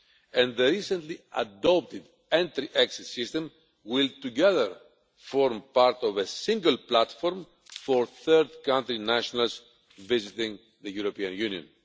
and the recently adopted entry-exit system will together form part of a single platform for third-country nationals visiting the European Union.